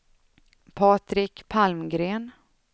Patrik Palmgren